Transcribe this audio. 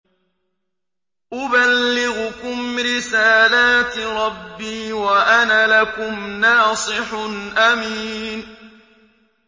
أُبَلِّغُكُمْ رِسَالَاتِ رَبِّي وَأَنَا لَكُمْ نَاصِحٌ أَمِينٌ